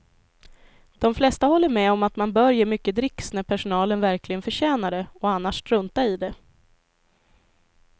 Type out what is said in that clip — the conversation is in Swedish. De flesta håller med om att man bör ge mycket dricks när personalen verkligen förtjänar det och annars strunta i det.